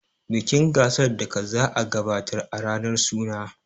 bikin gasar daka za a gabatar a ranar suna